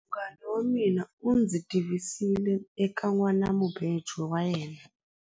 Munghana wa mina u ndzi tivisile eka nhwanamubejo wa yena.